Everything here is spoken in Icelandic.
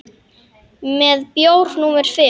Með bjór númer fimm.